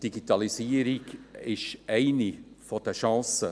Die Digitalisierung ist hier eine Chance.